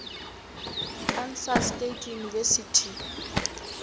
kansas state university